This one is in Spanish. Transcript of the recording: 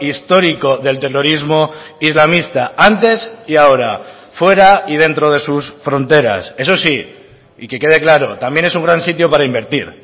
histórico del terrorismo islamista antes y ahora fuera y dentro de sus fronteras eso sí y que quede claro también es un gran sitio para invertir